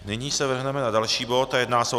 Nyní se vrhneme na další bod a jedná se o